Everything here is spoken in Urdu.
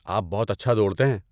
آپ بہت اچھا دوڑتے ہیں۔